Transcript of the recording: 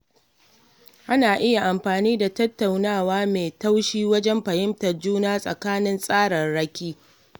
Ana iya amfani da tattaunawa mai taushi wajen fahimtar juna tsakanin tsararraki.